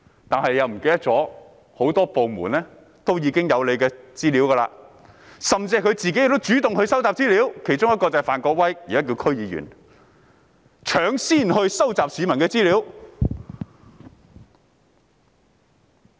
但他忘了很多部門也有市民的資料，而他們自己亦主動收集資料，其中一人是現已成為區議員的范國威，他已搶先收集市民的資料。